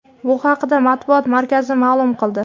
Bu haqda matbuot markazi ma’lum qildi .